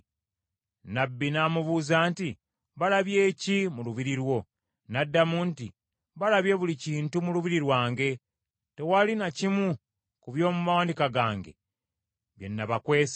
Nnabbi n’amubuuza nti, “Balabye ki mu lubiri lwo?” N’addamu nti, “Balabye buli kintu mu lubiri lwange, tewali na kimu ku by’omu mawanika gange kye nabakwese.”